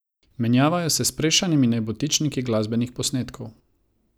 Menjavajo se s sprešanimi nebotičniki glasbenih posnetkov.